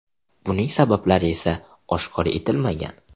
Buning sabablari esa oshkor etilmagan.